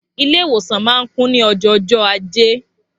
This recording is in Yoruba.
Ilé ìwòsan ma ń kún ní ojó jọ ajé